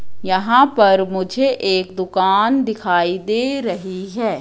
यहां पर मुझे एक दुकान दिखाई दे रही है।